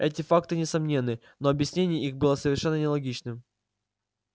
эти факты несомненны но объяснение их было совершенно нелогичным